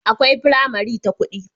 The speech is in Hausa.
akwai pramari ta kudi